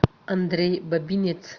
андрей бабинец